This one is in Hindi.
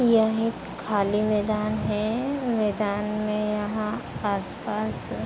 यह एक खाली मैदान है। मैदान में यहाँ आसपास --